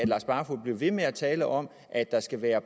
lars barfoed bliver ved med at tale om at der skal være